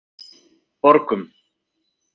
Borgum